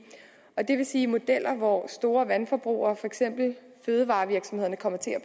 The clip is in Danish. og det vil sige modeller hvor store vandforbrugere som for eksempel fødevarevirksomhederne kommer til at